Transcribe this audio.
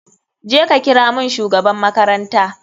Je ka kira mun shugaban makaranta.